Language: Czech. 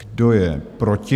Kdo je proti?